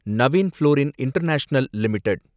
Naveen fluorine international limited